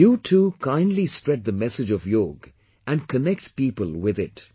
You too kindly spread the message of Yoga and connect people with it